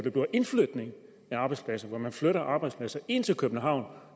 indflytning af arbejdspladser at man flytter arbejdspladser ind til københavn